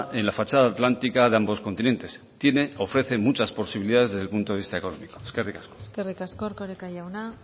en la fachada atlántica de ambos continentes tiene ofrece muchas posibilidades desde el punto de vista económico eskerrik asko eskerrik asko erkoreka jauna